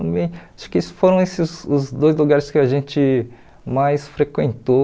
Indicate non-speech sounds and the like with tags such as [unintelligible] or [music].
[unintelligible] Acho que esses foram esses os dois lugares que a gente mais frequentou,